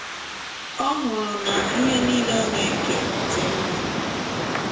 Ọ hụrụ na ihe nile ọ na - eke dị mma.